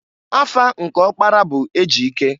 Afa nke ọkpara bu Ejike.